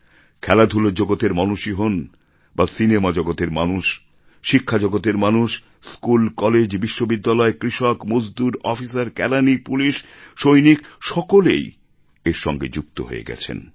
খেলাধূলার জগতের মানুষ ই হোন বা সিনেমা জগতের মানুষ শিক্ষার জগতের মানুষ স্কুল কলেজ বিশ্ববিদ্যালয় কৃষক মজদুর অফিসার কেরানি পুলিশ সৈনিক সকলে এর সঙ্গে যুক্ত হয়ে গেছেন